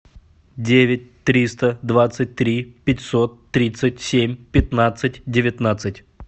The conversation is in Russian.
девять триста двадцать три пятьсот тридцать семь пятнадцать девятнадцать